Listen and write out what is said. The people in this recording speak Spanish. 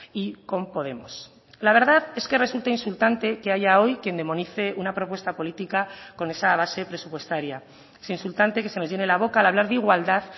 y con podemos la verdad es que resulta insultante que haya hoy quien demonice una propuesta política con esa base presupuestaria es insultante que se nos llene la boca al hablar de igualdad